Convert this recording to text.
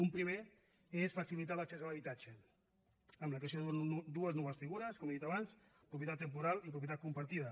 un primer és facilitar l’accés a l’habitatge amb la creació de dues noves figures com he dit abans propietat temporal i propietat compartida